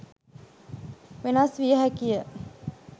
වෙනස් වියහැකිය.